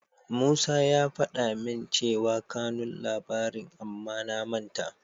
Musa ya faɗa min cewa kanun labarin amma na manta.